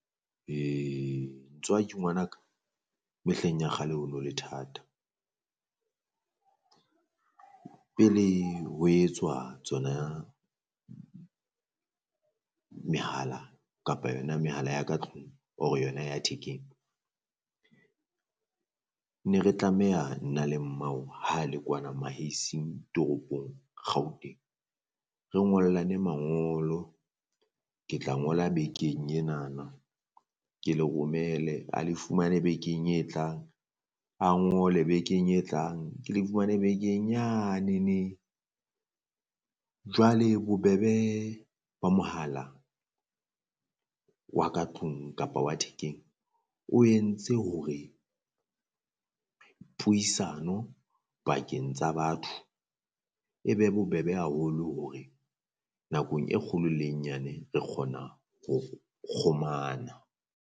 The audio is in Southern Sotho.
He ntswaki ngwana ka mehleng ya kgale ho no le thata, pele ho etswa tsona mehala kapa yona mehala ya ka tlung or-e yona ya thekeng ne re tlameha nna le mmao ha le kwana toropong Gauteng. Re ngollane mangolo ke tla ngola bekeng enana ke le romele a le fumane bekeng e tlang, a ngole bekeng e tlang, ke le fumane bekeng yanene. Jwale bobebe ba mohala wa ka tlung kapa wa thekeng o entse hore puisano pakeng tsa batho e be bobebe haholo hore nakong e kgolo le e nyane re kgona ho kgomana.